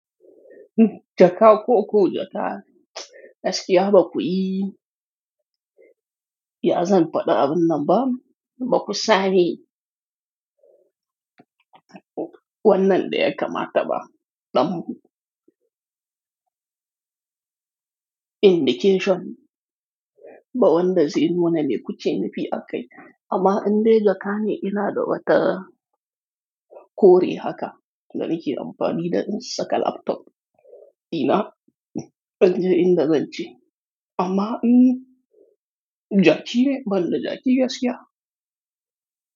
Jaka koku ya ta'a, gaskiya baku yi. Ya zan faɗa abin nan ba? Baku sani. Wannan ɗaya ka ma taɓa, ɗan indication ba wanda zai nuna me kuke nufi aka yi. Amma in dai jakane ina da wata kore haka, da nike amfani da in saka laptop, ina, in je in da zance. Amma in jaƙi ne, ban da jaƙi gaskiya.